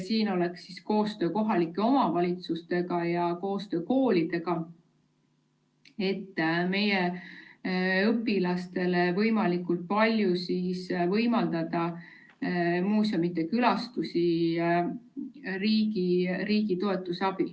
Siin oleks vaja teha koostööd kohalike omavalitsuste ja koolidega, et meie õpilastele võimalikult palju võimaldada muuseumide külastusi riigi toetuse abil.